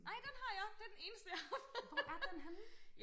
Ej den har jeg det er den eneste jeg har fundet